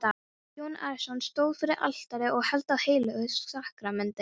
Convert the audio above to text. Jón Arason stóð fyrir altari og hélt á heilögu sakramenti.